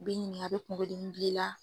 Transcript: U b'e ɲininka a be kunkolo dimi bila i la?